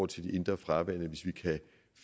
til de indre farvande hvis vi kan